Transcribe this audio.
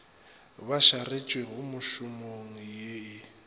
ba šaretšwego mešomong ye e